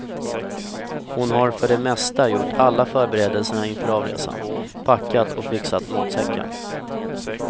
Hon har för det mesta gjort alla förberedelserna inför avresan, packat och fixat matsäcken.